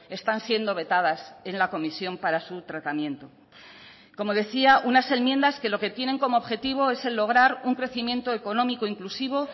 están siendo vetadas en la comisión para su tratamiento como decía unas enmiendas que lo que tienen como objetivo es el lograr un crecimiento económico inclusivo